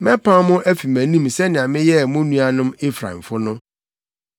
Mɛpam mo afi mʼanim sɛnea meyɛɛ mo nuanom Efraimfo no.’